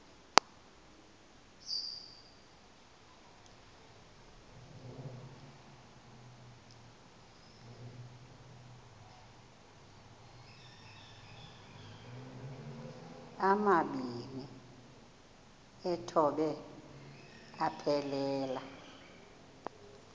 amabini exhobe aphelela